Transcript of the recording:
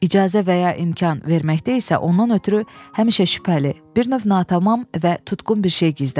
İcazə və ya imkan verməkdə isə ondan ötrü həmişə şübhəli, bir növ natamam və tutqun bir şey gizlənirdi.